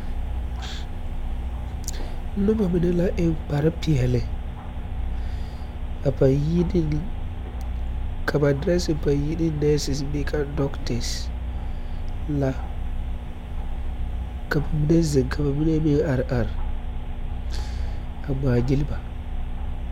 Noba mine la eŋ kpare peɛli ka ba dɔrɛsi paŋ yine nɛɛsi bee ka dɔgtɛs la ka ba mine ziŋ ka ba mine meŋ are are a ŋmaa gyil ba.